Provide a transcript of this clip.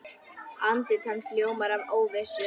Andlit hans ljómar af óvissu.